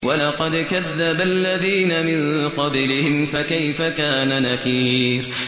وَلَقَدْ كَذَّبَ الَّذِينَ مِن قَبْلِهِمْ فَكَيْفَ كَانَ نَكِيرِ